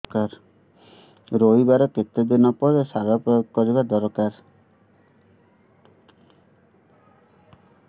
ରୋଈବା ର କେତେ ଦିନ ପରେ ସାର ପ୍ରୋୟାଗ କରିବା ଦରକାର